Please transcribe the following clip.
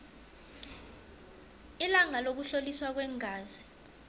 ilanga lokuhloliswa kweengazi